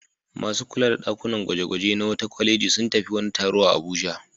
Masu kula da ɗakunan gwaje-gwaje na wata kwaleji sun tafi wani taro a Abuja.